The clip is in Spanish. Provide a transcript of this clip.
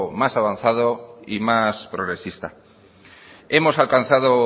más avanzado y más progresista hemos alcanzado